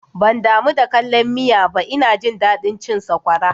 Ban damu da kallan miya ba, ina jin daɗin cin sakwara